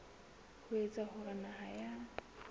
ho etsa hore naha ya